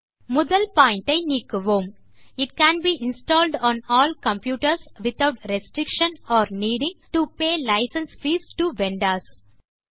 முதல் பாயிண்ட் ஐ நீக்குவோம் it can be installed on all computers without restriction or needing to pay licence fees to vendors